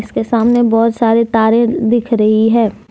इसके सामने बहुत सारे तारे दिख रही है।